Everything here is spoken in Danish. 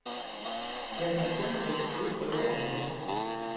Der kan kun tages blodprøver om natten.